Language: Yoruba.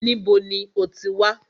Níbo ní o ti wá?